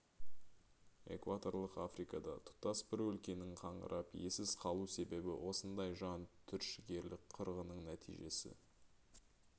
экваторлық африкада тұтас бір өлкенің қаңырап иесіз қалу себебі осындай жан түршігерлік қырғынның нәтижесі